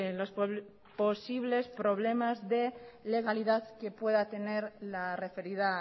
los posibles problemas de legalidad que pueda tener la referida